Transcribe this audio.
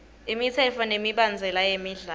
imitsetfo nemibandzela yemidlalo